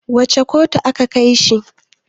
wacece kotu aka Kai shi?